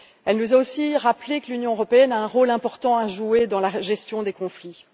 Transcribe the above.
Elle nous a aussi rappelé que l'Union européenne a un rôle important à jouer dans la gestion des conflits.